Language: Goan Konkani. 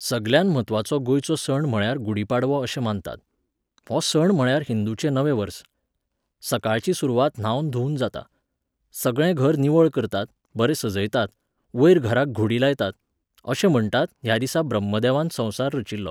सगल्यांत म्हत्वाचो गोंयचो सण म्हळ्यार गुढी पाडवो अशें मानतात. हो सण म्हळ्यार हिंदूचें नवें वर्स. सकाळची सुरवात न्हावन धुवन जाता. सगळें घर निवळ करतात, बरें सजयतात, वयर घराक घुडी लायतात. अशें म्हणटात, ह्या दिसा ब्रह्मदेवान संवसार रचिल्लो